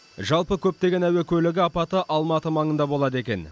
жалпы көптеген әуе көлігі апаты алматы маңында болады екен